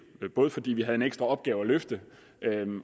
fordi vi havde en ekstra opgave at løfte